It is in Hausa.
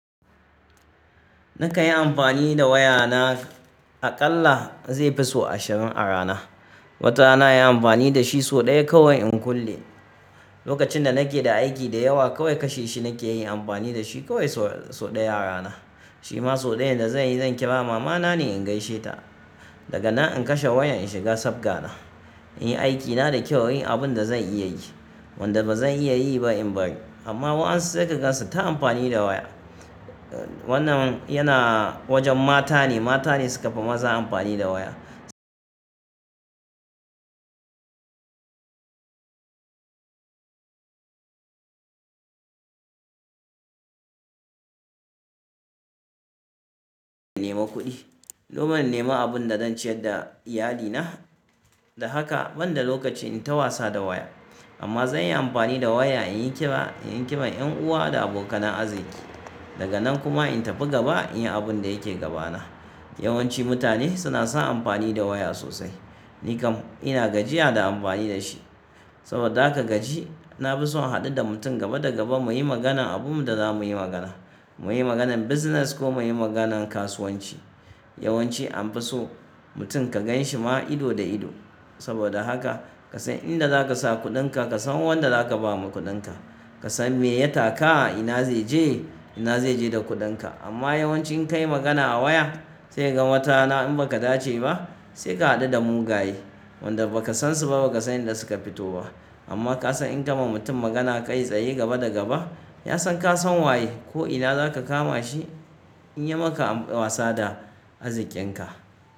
Na kan yi amfani da waya na aƙalla zai fi so ashirin a rana. Wata rana nayi amfani dashi soɗaya kawai in kule. Lokacin da nake da aiki da yawa kawai kashe shi nakeyi in yi amfani dashi kawai soɗaya a rana. Shima soɗayan da zanyi zan kira mama na ne in gaishe ta. Daga nan in kashe wayan in shiga sabgana, inyi aikina da kyau, inyi abun da zan iya yi wanda bazan iya ba in bari. Amma wainsu sai ka gan su ta amfani da waya. Wannan yana wajen mata ne, mata ne sukafi maza amfani da waya. Nema kuɗi. Goma in nima abun da zan ciyar da iyali na. Da haka, ban da lokacin in ta wasa da waya. Amma zanyi amfani da waya inyi kira, inyi kiran Yan uwa da abokanai arziki. Daga nan kuma in tafi gaba inyi abun da yake gabana. Yawancin mutane suna son amfani da waya sosai. Ni kam ina gajiya da amfani dashi. Saboda haka gaji, na fi son in haɗu da mutum gaba da gaba muyi maganan abunmu da zamuyi magana. Muyi maganan business ko muyi maganan kasuwanci. Yawanci anfi so mutum ka ganshi ma ido da ido. Saboda haka ka san inda zaka sa kuɗin ka, ka san wanda zaka ba ma kuɗin ka. Ka san me ya taka, ina zai je, ina zai je da kuɗin ka. Amma yawanci in kayi magana a waya, sai ka ga wata rana in baka dace ba, sai ka haɗu da mugaye wanda bakasan su ba, bakasan inda suka fito ba. Amma ka san in ka ma mutum magana kai tsaye gaba da gaba, ya san ka san waye ko ina zaka kama shi in ya maka wasa da arzikin ka.